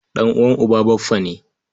Ɗan'uwan uba baffa ne.